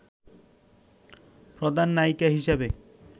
প্রধান নায়িকা হিসেবে